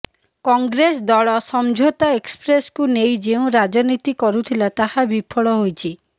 କଂଗ୍ରେସ ଦଳ ସମଝୋତା ଏକ୍ସପ୍ରେସକୁ ନେଇ ଯେଉଁ ରାଜନୀତି କରୁଥିଲା ତାହା ବିଫଳ ହୋଇଛି